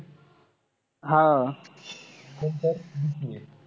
हा.